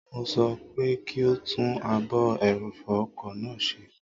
Mo sọ fún pé kí ó tún ààbò ẹrọ̀fọ̀ ọkọ̀ náà ṣe